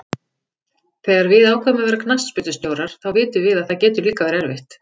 Þegar við ákveðum að verða knattspyrnustjórar þá vitum við að það getur líka verið erfitt.